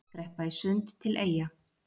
Skreppa í sund til Eyja